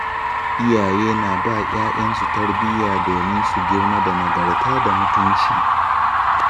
Iyaye na ba ‘ya’yansu tarbiyya domin su girma da nagarta da mutunci.